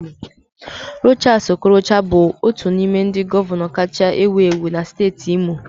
Rochas Okorocha bụ otu n'ime ndị gọvanọ kacha ewu ewu na steeti Imo.